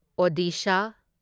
Odisha